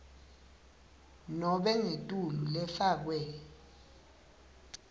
nobe ngetulu lefakwe